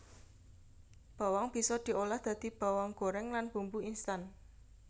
Bawang bisa diolah dadi bawang gorèng lan bumbu instan